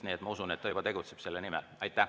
Nii et ma usun, et ta tegutseb selle nimel.